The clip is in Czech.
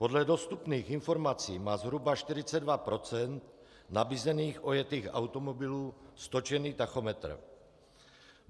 Podle dostupných informací má zhruba 42 % nabízených ojetých automobilů stočený tachometr.